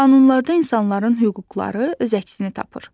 Qanunlarda insanların hüquqları öz əksini tapır.